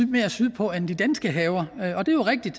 mere sydpå end de danske haver og det er rigtigt